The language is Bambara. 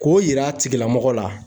K'o yira a tigilamɔgɔ la.